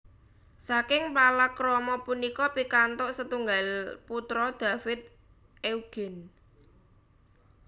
Saking palakrama punika pikantuk setunggal putra David Eugene